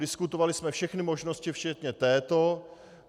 Diskutovali jsme všechny možnosti včetně této.